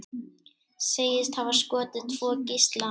Segist hafa skotið tvo gísla